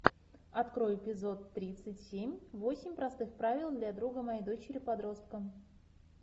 открой эпизод тридцать семь восемь простых правил для друга моей дочери подростка